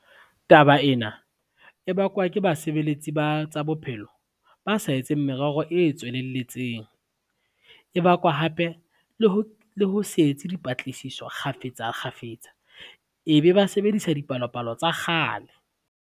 Taba ena e bakwa ke basebeletsi ba tsa bophelo, ba sa etseng merero e tswelelletseng. E bakwa hape le ho se etse dipatlisiso kgafetsa kgafetsa ebe ba sebedisa dipalopalo tsa kgale.